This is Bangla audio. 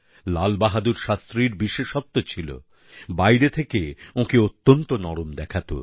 লাল বাহাদুর শাস্ত্রীর বিশেষত্ব ছিল বাইরে থেকে ওঁকে অত্যন্ত নরম দেখাতো